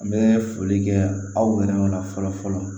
N bɛ foli kɛ aw yɛrɛ la fɔlɔ fɔlɔ